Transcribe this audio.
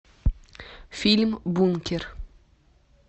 фильм бункер